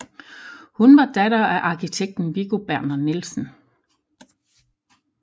Hun var datter af arkitekten Viggo Berner Nielsen